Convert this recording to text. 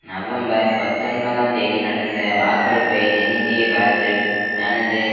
November பத்தொன்பதாம் தேதி நடந்த வாக்கெடுப்பை நெருங்கிய காலத்தில் தனது